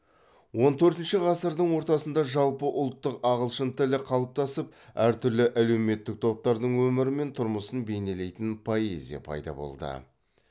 он төртінші ғасырдыңдың ортасында жалпы ұлттық ағылшын тілі қалыптасып әр түрлі әлеуметтік топтардың өмірі мен тұрмысын бейнелейтін поэзия пайда болды